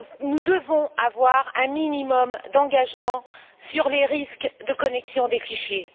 Nous devons avoir un minimum d'engagement sur les risques de connexion des fichiers.